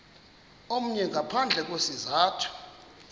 omnye ngaphandle kwesizathu